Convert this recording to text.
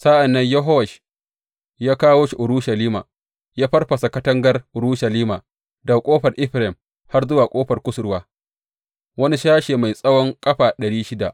Sa’an nan Yehowash ya kawo shi Urushalima ya farfasa katangar Urushalima daga Ƙofar Efraim har zuwa Ƙofar Kusurwa, wani sashe mai tsawon ƙafa ɗari shida.